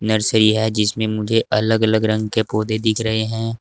Nursery है जिसमें मुझे अलग अलग रंग के पौधे दिख रहे हैं।